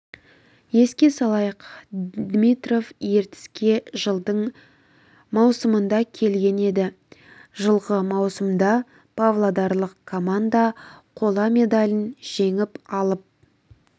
еске салайық димитров ертіске жылдың маусымында келген еді жылғы маусымда павлодарлық команда қола медалін жеңіп алып